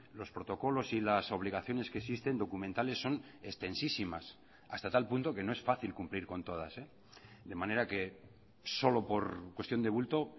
los protocolos y las obligaciones que existen documentales son extensísimas hasta tal punto que no es fácil cumplir con todas de manera que solo por cuestión de bulto